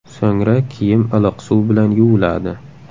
So‘ngra kiyim iliq suv bilan yuviladi.